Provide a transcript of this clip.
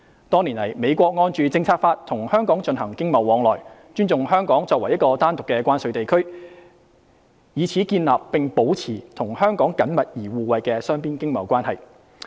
多年來，美國按《政策法》與香港進行經貿往來，尊重香港作為一個單獨的關稅地區，以此建立並保持與香港緊密而互惠的雙邊經貿關係。